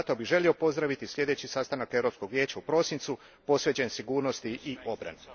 Zato bih želio pozdraviti sljedeći sastanak Europskog vijeća u prosincu, posvećen sigurnosti i obrani.